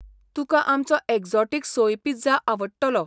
तुकां आमचो exotic soy pizza आवडटलो.